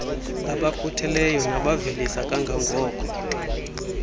abakhutheleyo nabavelisa kangangoko